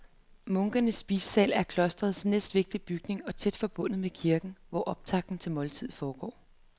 Munkenes spisesal er klostrets næstvigtigste bygning og tæt forbundet med kirken, hvor optakten til måltidet foregår.